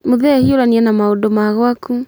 Mũthee hiũrania na maũndũ ma gwaku.